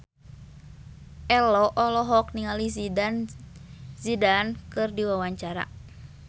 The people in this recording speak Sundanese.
Ello olohok ningali Zidane Zidane keur diwawancara